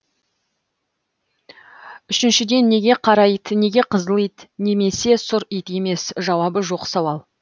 үшіншіден неге қара ит неге қызыл ит немесе сұр ит емес жауабы жоқ сауал